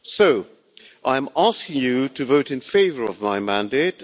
So I am asking you to vote in favour of my mandate.